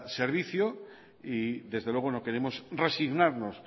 servicio y desde luego no queremos resignarnos